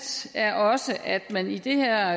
er også at man i det her